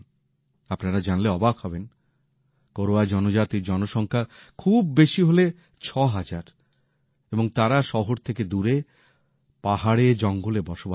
আপনারা জানলে অবাক হবেন কোরওয়া জনজাতির জনসংখ্যা খুব বেশি হলে ছ হাজার এবং তারা শহর থেকে দূরে পাহাড়ে জঙ্গলে বসবাস করে